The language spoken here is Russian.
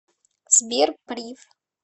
сбер прив